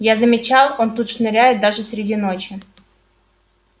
я замечал он тут шныряет даже среди ночи